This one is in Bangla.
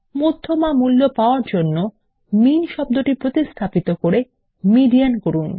মধ্যমা মূল্য পাওয়ার জন্য মিন শব্দটি প্রতিস্থাপন করে মিডিয়ান করুন